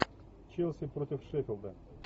челси против шеффилда